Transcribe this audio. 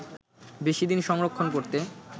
বেশি দিন সংরক্ষণ করতে